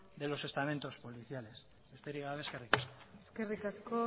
de los estamentos policiales besterik gabe eskerrik asko eskerrik asko